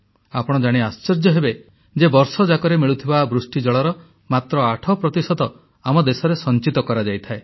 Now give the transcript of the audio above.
ଆପଣ ଜାଣି ଆଶ୍ଚର୍ଯ୍ୟ ହେବେ ଯେ ବର୍ଷଯାକରେ ମିଳୁଥିବା ବୃଷ୍ଟିଜଳର ମାତ୍ର 8 ପ୍ରତିଶତ ଆମ ଦେଶରେ ସଂଚିତ କରାଯାଇଥାଏ